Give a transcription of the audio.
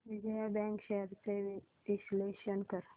Vijaya bank shares चे विश्लेषण कर